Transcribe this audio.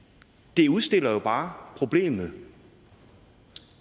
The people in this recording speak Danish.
det udstiller jo bare problemet